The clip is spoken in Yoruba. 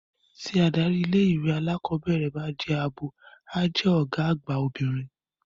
Tí adarí ilé-ìwé alákọ̀ọ́bẹ̀rẹ̀ bá jẹ́ abo, a jẹ́ ọ̀gá àgbà obìnrin.